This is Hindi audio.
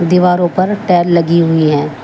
दीवारों पर टेल लगी हुई हैं।